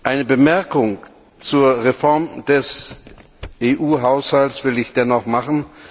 Eine Bemerkung zur Reform des EU Haushalts will ich dennoch machen.